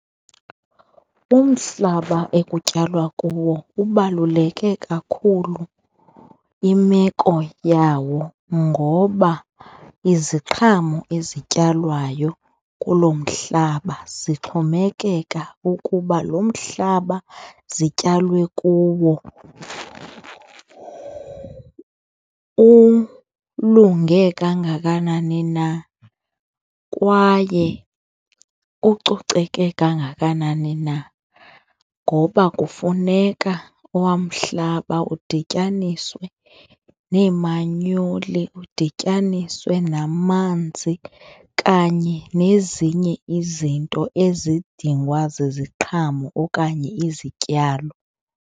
Umhlaba ekutyalwa kuwo ubaluleke kakhulu imeko yawo ngoba iziqhamo ezityalwayo kulo mhlaba zixhomekeka ukuba lo mhlaba zityalwe kuwo ulunge kangakanani na kwaye ucoceke kangakanani na ngoba kufuneka owa umhlaba udityaniswe nemanyoli, udityaniswe namanzi kanye nezinye izinto ezidingwa ziziqhamo okanye izityalo.